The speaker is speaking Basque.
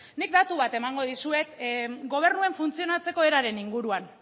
nik datu bat emango dizuet gobernuaren funtzionatzeko eraren inguruan